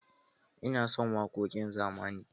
Ina son waƙoƙin zamani.